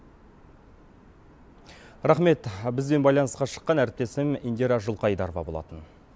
рахмет бізбен байланысқа шыққан әріптесім индира жылқайдарова болатын